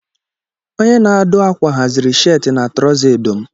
Onye na-adụ ákwà haziri sheetị na troza edo m